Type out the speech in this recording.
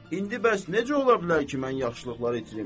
İndi bəs necə ola bilər ki, mən yaxşılıqları itirim?